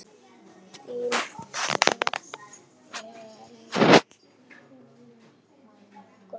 Þín að eilífu, Gróa.